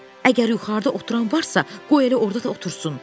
Əgər yuxarıda oturan varsa, qoy elə orda da otursun.